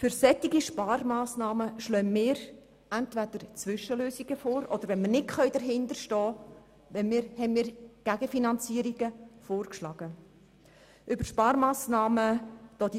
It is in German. Für solche Sparmassnahmen schlagen wir entweder Zwischenlösungen vor, oder wir haben Gegenfinanzierungen vorgeschlagen, wenn wir nicht hinter den Massnahmen stehen können.